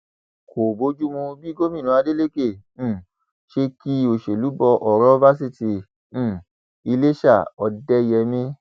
kò bojumu bí gomina adeleke um ṣe ki òṣèlú bo ọrọ fáṣítì um iléṣàòdeyẹmi